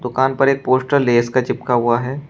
दुकान पर एक पोस्टर लेज का चिपका हुआ है।